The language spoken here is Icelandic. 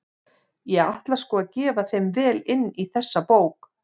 Ég ætla sko að gefa þeim vel inn í þessari bók!